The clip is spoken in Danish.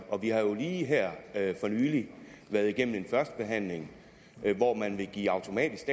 og vi har jo lige her for nylig været igennem en førstebehandling hvor man ville give automatisk